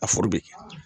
A